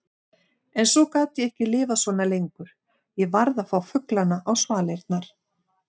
En svo gat ég ekki lifað svona lengur, ég varð að fá fuglana á svalirnar.